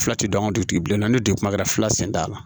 Fila tɛ dɔn ka dugutigi bilen ni dugu kuma kɛra fila sen t'a la